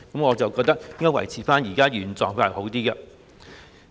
我覺得應該維持原狀會較好。